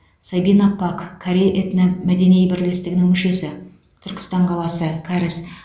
сабина пак корей этномәдени бірлестігінің мүшесі түркістан қаласы кәріс